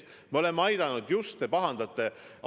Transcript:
Me oleme aidanud.